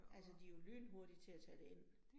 Altså de jo lynhurtige til at tage det ind